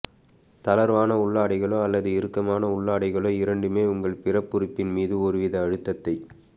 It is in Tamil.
தளர்வான உள்ளாடைகளோ அல்லது இறுக்கமான உள்ளாடைகளோ இரண்டுமே உங்கள் பிறப்புறுப்பின் மீது ஒருவித அழுத்தத்தை